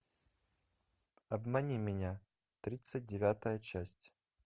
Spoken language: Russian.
обмани меня тридцать девятая часть